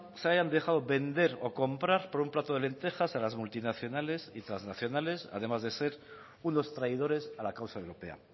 se hayan dejado vender o comprar por un plato de lentejas a las multinacionales y trasnacionales además de ser unos traidores a la causa europea